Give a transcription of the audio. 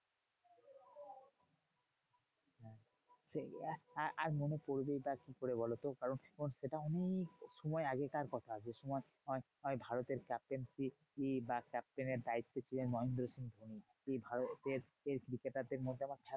সেই আআআর মনে পড়বেই বা কি করে বোলোত? কারণ সেটা অনেক সময় আগেকার কথা যে সময় তোমার ওই ওই ভারতের captaincy বা captain এর দায়িত্বে ছিলেন মহেন্দ্র সিংহ ধোনি। সেই ভারতের cricketer দের মধ্যে আমার